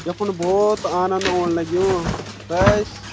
यफून बहौत आनंद ओन लग्यूं बस।